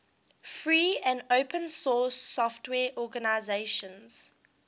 free and open source software organizations